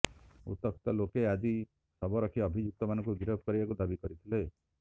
ଉତ୍ତ୍ୟକ୍ତ ଲୋକେ ଆଜି ଶବ ରଖି ଅଭିଯୁକ୍ତମାନଙ୍କୁ ଗିରଫ କରିବାକୁ ଦାବି କରିଥିଲେ